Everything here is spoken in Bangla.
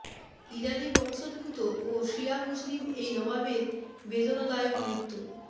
ইরানি বংশোদ্ভূত ও শিয়া মুসলিম এই নবাবের বেদনাদায়ক মৃত্যু